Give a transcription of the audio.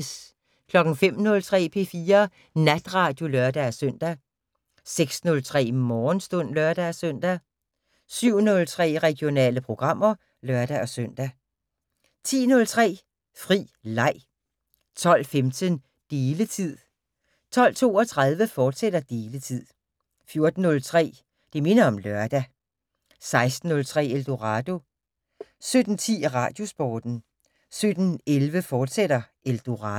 05:03: P4 Natradio (lør-søn) 06:03: Morgenstund (lør-søn) 07:03: Regionale programmer (lør-søn) 10:03: Fri Leg 12:15: Deletid 12:32: Deletid, fortsat 14:03: Det minder om lørdag 16:03: Eldorado 17:10: Radiosporten 17:11: Eldorado, fortsat